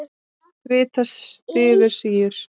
Krita styður síur.